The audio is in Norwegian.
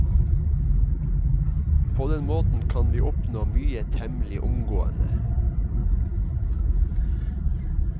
På den måten kan vi oppnå mye temmelig omgående.